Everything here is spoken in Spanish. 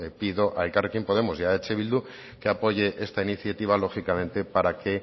pido a elkarrekin podemos y a eh bildu que apoyen esta iniciativa lógicamente para que